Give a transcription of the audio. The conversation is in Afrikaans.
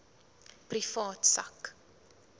privaat sak